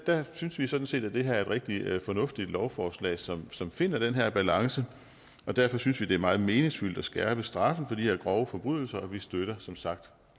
der synes vi sådan set at det her er et rigtig fornuftigt lovforslag som som finder den her balance og derfor synes vi at det er meget meningsfyldt at skærpe straffen for de her grove forbrydelser vi støtter som sagt